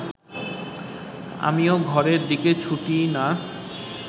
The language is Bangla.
আমি ও ঘরের দিকে ছুটি না